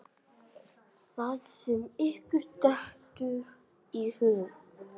Það sem ykkur dettur í hug!